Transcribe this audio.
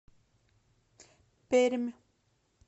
пермь